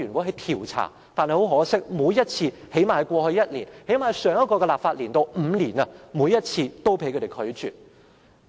很可惜，每一次——最低限度在過去一年及上一個立法年度的這5年間——每一次也被他們拒絕。